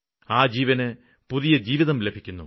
ആ ജീവന് പുതിയ ജീവിതം ലഭിക്കുന്നു